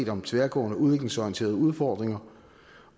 om tværgående udviklingsorienterede udfordringer